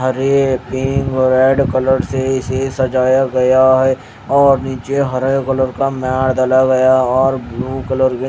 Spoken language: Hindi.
हरे पिंक और रेड कलर से इसे सजाया गया है और नीचे हरे कलर का मैट डाला गया और ब्लू कलर के --